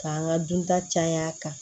K'an ka dunta caya a kan